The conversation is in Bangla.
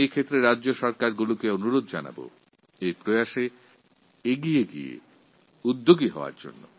সমস্ত রাজ্য সরকারদের কাছে অনুরোধ এই প্রকল্পটিকে আমরা এগিয়ে নিয়ে যাব